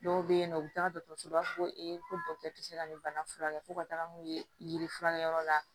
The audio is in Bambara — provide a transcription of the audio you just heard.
Dɔw bɛ yen nɔ u bɛ taa dɔgɔtɔrɔso la u b'a fɔ ko ee ko dɔkitɛriw tɛ se ka nin bana furakɛ fo ka taga n'u ye ye furakɛliyɔrɔ la